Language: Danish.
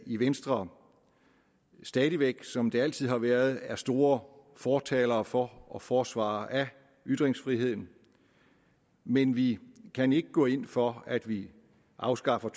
i venstre stadig væk som vi altid har været er store fortalere for og forsvarere af ytringsfriheden men vi kan ikke gå ind for at vi afskaffer